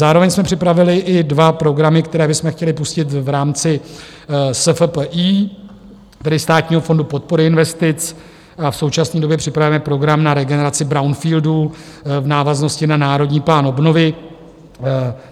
Zároveň jsme připravili i dva programy, které bychom chtěli pustit v rámci SFPI, tedy Státního fondu podpory investic, a v současné době připravujeme program na regeneraci brownfieldů v návaznosti na Národní plán obnovy.